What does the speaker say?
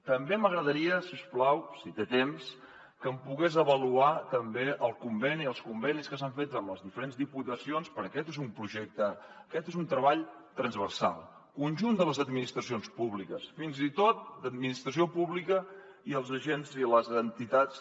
també m’agradaria si us plau si té temps que em pogués avaluar també els convenis que s’han fet amb les diferents diputacions perquè aquest és un projecte aquest és un treball transversal del conjunt de les administracions públiques fins i tot administració pública i els agents i les entitats